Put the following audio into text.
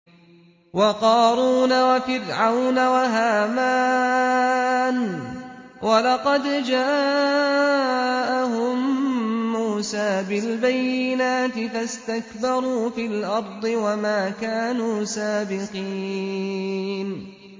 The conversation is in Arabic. وَقَارُونَ وَفِرْعَوْنَ وَهَامَانَ ۖ وَلَقَدْ جَاءَهُم مُّوسَىٰ بِالْبَيِّنَاتِ فَاسْتَكْبَرُوا فِي الْأَرْضِ وَمَا كَانُوا سَابِقِينَ